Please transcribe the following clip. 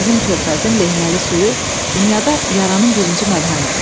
Bizim körfəzin lehməli suyu dünyada yaranın birinci məlhəmidir.